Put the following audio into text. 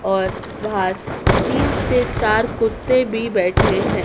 और बाहर तीन से चार कुत्ते भीं बैठे हैं।